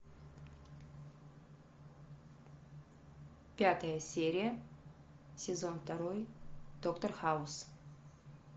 пятая серия сезон второй доктор хаус